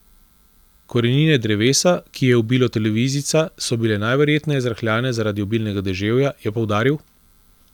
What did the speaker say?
Korenine drevesa, ki je ubilo televizijca, so bile najverjetneje zrahljane zaradi obilnega deževja, je poudaril.